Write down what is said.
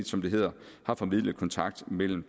som det hedder har formidlet kontakt mellem